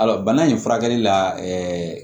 Ayiwa bana in furakɛli la